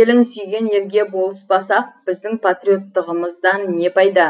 елін сүйген ерге болыспасақ біздің патриоттығымыздан не пайда